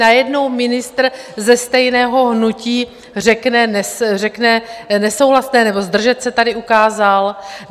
Najednou ministr ze stejného hnutí řekne: "nesouhlaste" nebo "zdržet se" tady ukázal.